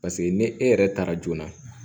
Paseke ni e yɛrɛ taara joona